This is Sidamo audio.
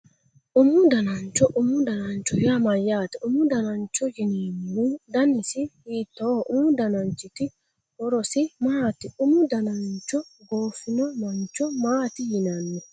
Umu danancho umu danancho yaa mayyaate umu danancho yinemmohu danisi hiittooho umu dananchiti horosi maati umu danancho goofino mancho maati yinanni